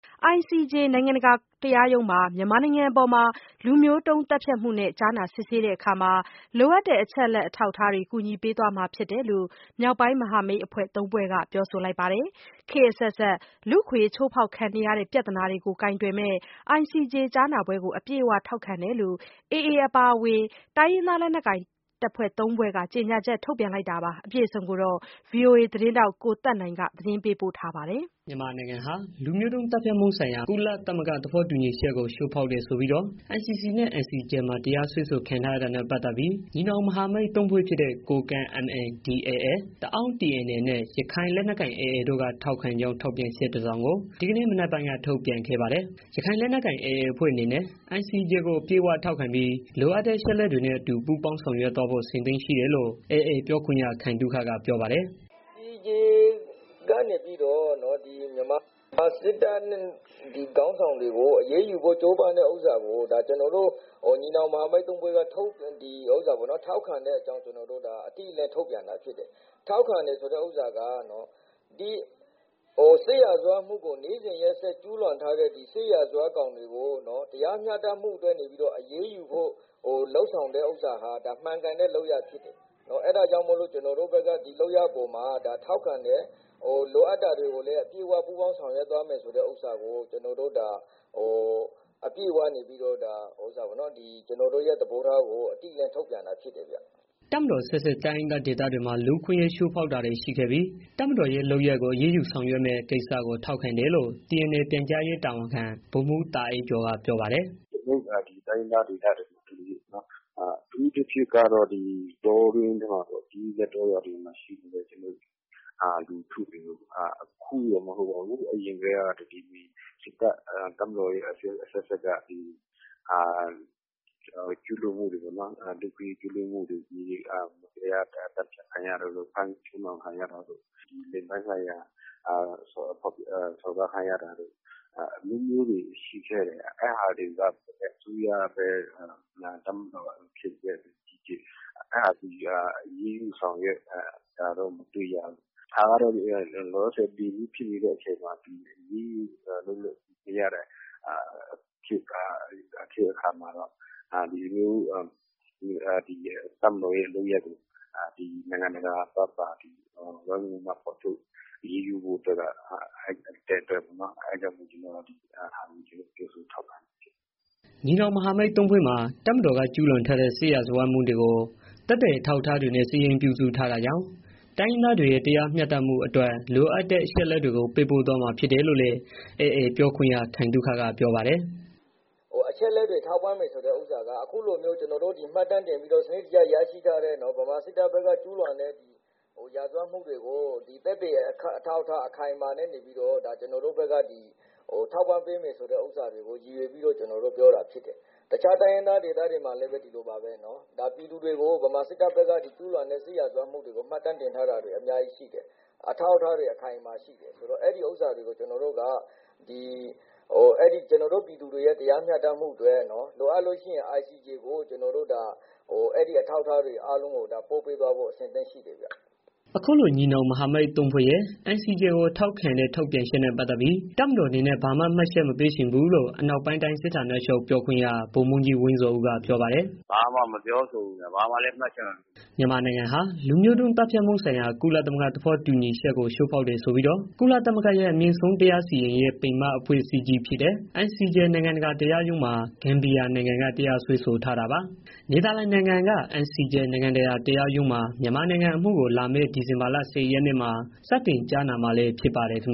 ICJ နိုင်ငံတကာ တရားရုံးမှာ မြန်မာနိုင်ငံအပေါ် လူမျိုးတုံးသတ်ဖြတ်မှုနဲ့ ကြားနာစစ်ဆေးတဲ့အခါ လိုအပ်တဲ့ အချက်အလက် အထောက်အထားတွေ ကူညီပေးသွားမှာ ဖြစ်တယ်လို့ မြောက်ပိုင်းမဟာမိတ်အဖွဲ့ဝင် ၃ ဖွဲ့က ပြောဆိုလိုက်ပါတယ်။ ခေတ်အဆက်ဆက် လူ့အခွင့်အရေး ချိုးဖေါက်ခံနေရတဲ့ ပြဿနာကို ကိုင်တွယ်မယ့် ICJ ကြားနာပွဲကို အပြည့်အဝ ထောက်ခံတယ်လို့ AA အပါအဝင် တိုင်းရင်းလက်နက်ကိုင် ၃ ဖွဲ့ကြေညာချက် ထုတ်ပြန်လိုက်တာပါ။ VOA သတင်းထောက် ကိုသက်နိုင်က သတင်းပေးပို့ထားပါတယ်။ မြန်မာနိုင်ငံကို လူမျိုးတုံး သတ်ဖြတ်မှုဆိုင်ရာ ကုလသမဂ္ဂ သဘောတူညီချက်ကို ချိုးဖောက်တယ်ဆိုပြီးတော့ ICC နဲ့ ICJ မှာတရားစွဲဆိုခံထားရတာနဲ့ ပတ်သတ်ပြီး မြောက်ပိုင်းမဟာမိတ်အဖွဲ့ဝင် ၃ ဖွဲ့ဖြစ်တဲ့ ကိုကန့် MNDAA၊ တအောင်းTNLA၊ ရခိုင်လက်နက်ကိုင် AA တို့က ထောက်ခံကြောင်း ထုတ်ပြန်ချက် တစောင်ကို ဒီကနေ့ မနက်ပိုင်းက ထုတ်ပြန်ခဲ့ပါတယ်။ ရခိုက်လက်နက်ပိုင် AA အဖွဲ့အနေနဲ့ ICJ ကို အပြည့်အဝ ထောက်ခံပြီး လိုအပ်တဲ့ အချက်အလက်တွေနဲ့ အတူ ပူပေါင်းဆောင်ရွက်ဖို့ အဆင်သင့်ရှိတယ် လို့ AA ပြောခွင့်ရ ခိုင်သုခက ပြောပါတယ်။ “ICJ ကနေပြီးတော့ မြန်မာစစ်တပ်ခေါင်းဆောင်တွေကို အရေးယူဖို့ ကြိုးပမ်းတဲ့ဟာကို ကျနော်တို့ ညီနောင်မဟာမိတ် ၃ ဖွဲ့က ထောက်ခံတဲ့အကြောင်း အတိအလင်း ထုတ်ပြန်တာ ဖြစ်တယ်။ ထောက်ခံတယ်ဆိုတာက စစ်ရာဇဝတ်မှုကို နေ့စဉ်ရက်စက် ကျူးလွန်ထားတဲ့ စစ်ရာဇဝတ်ကောင်တွေကို တရားမျှတမှုအတွက် အရေးယူဖို့ လုပ်ဆောင်တဲ့ဥစ္စာဟာ မှန်ကန်တဲ့ လုပ်ရပ်ဖြစ်တယ်။ အဲဒါကြာင့် ကျနော်တို့ဘက်က ထောက်ခံတယ်။ လိုအပ်တဲ့ဟာကိုလည်း အပြည့်အဝ ဆောင်ရွက်သွားမယ်ဆိုတဲ့ ကျနော်တို့ရဲ့ သဘောထားကို အတိအလင်း ထုတ်ပြန်တာဖြစ်တယ်။ တပ်မတော်အဆက်ဆက် တိုင်းရင်းသားဒေသတွေမှာ လူ့ခွင့်အရေး ချိုးဖောကခဲ့တဲ့ တပ်မတော်ရဲ့ လုပ်ရပ်ကို အရေးယူဆောင်ရွက်မယ့် ကိစ္စကို ထောက်ခံတယ်လို့ TNLA ပြန်ကြားရေးတာဝန်ခံ ဗိုလ်မှူးတာအိုက်ကျော်က ပြောပါတယ်။ “ကျနော်တို့ တိုင်းရင်းသားဒေသတွေမှာ အထူးသဖြင့်ကတော့ တောတွင်းမှာပေါ့ ရှိနေတဲ့ ပြည်သူတွေကို အခုမှ မဟုတ်ပါဘူး အရင်ကတည်းက တပ်မတော်အဆက်ဆက်က ကျူးလွန်မှုတွေ လူ့အခွင့်အရေး ကျူးလွန်မှုတွေ မတရား သတ်ဖြတ်ခံရတာတို့ ဖမ်းဆီးခံရတာတို့ ဒီလိင်ပိုင်းဆိုင်ရာ စော်ကားခံရတာတို့ အမျိုးမျိုးတွေ ရှိခဲ့တယ်။ အဲတာကို အစိုးရပဲ ဖြစ်ဖြစ်၊ တပ်မတော်ပဲဖြစ်ဖြစ် အဲဒါတွေကို အရေးယူဆောင်ရွက်တာ မတွေ့ရဘူး။ လောလောဆယ် အခုဖြစ်နေတဲ့ အချိန်မှာ အရေးယူလို့ရတဲ့ အချိန်အခါမှာတော့ ဒီလိုမျိုး တပ်မတော်ရဲ့ လုပ်ရပ်ကို နိုင်ငံတကာက အရေးယူဖို့ လုပ်ရပ်ကို ကျနော်တို့ ထောက်ခံတယ်။” တပ်မတော်က ကျုးလွန်ထားတဲ့ စစ်ရာဇဝတ်မှုတွေကို မြောက်ပိုင်း မဟာမိတ်သုံးဖွဲ့က သက်သေအထောက်အထားတွေနဲ့ စာရင်းပြုစုထားတာကြောင့် တိုင်းရင်းသားတွေရဲ့ တရားမျှတမှုတွေအတွက် အချက်အလက်တွေကို ပေးပို့သွားမှာ ဖြစ်တယ်လို့လည်း AA ပြောခွင့်ရ ခိုင်သုခက ပြောပါတယ်။ “အချက်အလက်တွေ ထောက်ပံ့မယ်ဆိုတဲ့ ဟာက အခုလိုမျိုးကျနော်တို့ မှတ်တမ်းတင်ပြီးတော့ စနစ်တကျ ရရှိထားတဲ့ ဗမာစစ်တပ်ဘက်က ကျူးလွန်တဲ့ ရာဇဝတ်မှုတွေကို သက်သေအထောက်အထား အခိုင်အမာနဲ့ နေပြီးတော့ ကျနော်တို့ဘက်က ထောက်ပံ့ပေးမယ်ဆိုတဲ့ ဟာကို ရည်ရွယ်ပြီးတော့ ကျနော်တို့ပြောတာဖြစ်တယ်။ တခြား တိုင်းရင်းသားဒေသတွေမှာလည်းပဲ ဒီလိုပါပဲနော်။ ပြည်သူတွေကို ဗမာစစ်တပ်ဘက်က ကျူးလွန်တဲ့ စစ်ရာဇဝတ်မှုတွေကို မှတ်တမ်းတင်ထားတာတွေ အများကြီးရှိတယ်။ အဲဒီဟာကို ကျနော်တို့ ပြည်သူတွေရဲ့ တရားမျှတမှုအတွက် လိုအပ်ရင် ICJ ကို အဲဒီအထောက်အထားတွေ ပို့ပေးသွားဖို့ အဆင်သင့်ရှိတယ်။” အခုလို မြောက်ပိုင်း မဟာမိတ်သုံးဖွဲ့ရဲ့ ICJ ကို ထောက်ခံတဲ့ ထုတ်ပြန်ချက်နဲ့ ပတ်သတ်ပြီး တပ်မတော်အနေနဲ့ ဘာမှတ်ချက်မှမပေးချင်ဘူးလို့ အနောက်ပိုင်းတိုင်း စစ်ဌာနချုပ် ဗိုလ်မှူးကြီး ဝင်းဇော်ဦးက ပြောပါတယ်။ “ကျနော်ဘာာမှ မပြောချင်ဘူး။ ဘာမှလည်း မှတ်ချက် မပေးချင်ဘူး။” မြန်မာနိုင်ငံဟာ လူမျိုးတုံး သတ်ဖြတ်မှုဆိုင်ရာ ကုလသမဂ္ဂ သဘောတူညီချက်ကို ချိုးဖောက်တယ်ဆိုပြီးတော့ ကုလသမဂ္ဂရဲ့ အမြင့်ဆုံးတရားစီရင်ရေး ပင်မအဖွဲ့အစည်းကြီးဖြစ်တဲ့ ICJ နိုင်ငံတကာတရားရုံးမှာ ဂမ်ဘီယာနိုင်ငံက တရားစွဲဆိုထားတာပါ။ နယ်သာလန်နိုင်ငံ The Hague က ICJ နိုင်ငံတကာတရားရုံးမှာ မြန်မာနိုင်ငံအမှုကို လာမယ့်ဒီဇင်ဘာလ ၁၀ ရက်နေ့ စတင်ကြားနာမှာလည်း ဖြစ်ပါတယ်ခင်